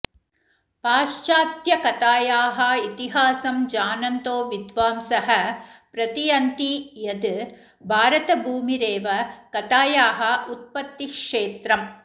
पाश्चात्त्यकथाया इतिहासं जानन्तो विद्वांसः प्रतियन्ति यद् भारतभूमिरेव कथाया उत्पत्तिक्षेत्रम